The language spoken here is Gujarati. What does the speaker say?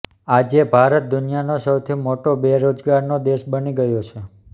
આજે ભારત દુનિયાનો સૌથી મોટો બેરોજગારોનો દેશ બની ગયો છે